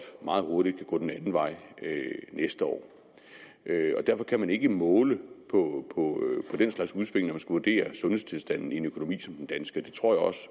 meget hurtigt gå den anden anden vej næste år og derfor kan man ikke måle på den slags udsving når man vurdere sundhedstilstanden i en økonomi som den danske det tror jeg også